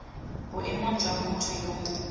boemong jwa motho yo mongwe